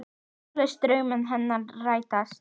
Þú lést drauma hennar rætast.